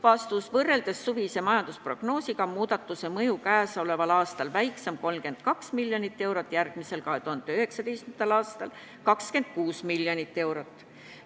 Vastus: võrreldes suvise majandusprognoosiga on laekumine käesoleval aastal väiksem 32 miljonit eurot, järgmisel, 2019. aastal 26 miljonit eurot.